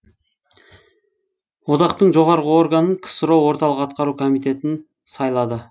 одақтың жоғарғы органын ксро орталық атқару комитетін сайлады